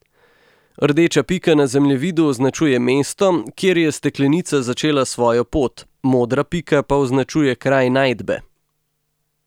Rdeča pika na zemljevidu označuje mesto, kjer je steklenica začela svojo pot, modra pika pa označuje kraj najdbe.